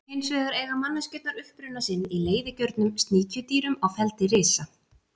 Hins vegar eiga manneskjurnar uppruna sinn í leiðigjörnum sníkjudýrum á feldi risa.